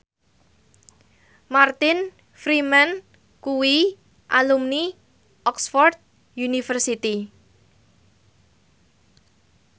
Martin Freeman kuwi alumni Oxford university